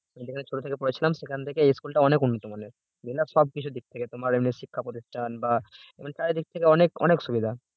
যেখানে ছোট থেকে পড়েছিলাম সেখান থেকে এই school টা অনেক উন্নত মানে সবকিছুর দিক থেকে তোমার এমনি শিক্ষাপ্রতিষ্ঠান বা এবং চারিদিক থেকে অনেক অনেক সুবিধা